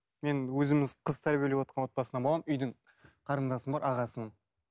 мен өзіміз қыз тәрбиелеп отырған отбасынан боламын үйдің қарындасым бар ағасымын